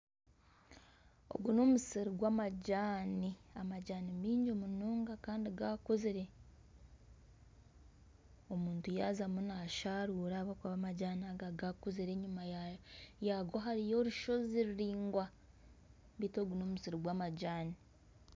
Ogu n'omusiri gw'amajani, amajani maingi munonga kandi gaakuzire omuntu yaazamu nasharura ahabw’okuba amajani aga gaakuzire. Enyuma yago hariyo orushozi ruraingwa beitu ogu n'omusiri gw'amajani.